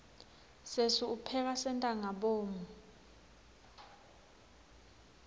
sesi upheka sentangabomu